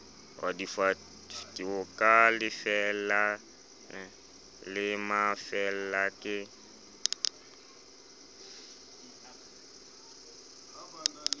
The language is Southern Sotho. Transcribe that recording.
ka lefeela la mafeela ke